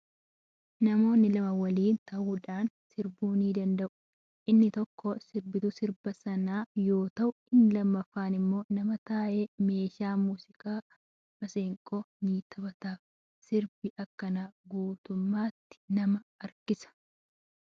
Namoonni lama waliin ta'uudhaan sirbuu ni danda'u. Inni tokko sirbituun sirba sana sirbu yoo ta'u, inni lammaffaan immoo nama taa'ee meeshaa muuziqaa masaanqoo ni taphataaf. Sirbi akkanaa guutummaatti nama harkisa